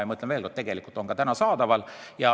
Ja ma kinnitan, et need on juba täna saadaval.